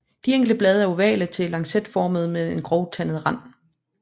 De enkelte blade er ovale til lancetformede med en grovtandet rand